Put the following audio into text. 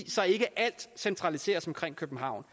så ikke alt centraliseres omkring københavn